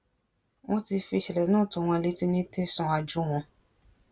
wọn ti fi ìṣẹlẹ náà tó wọn létí ní tẹsán àjúwọn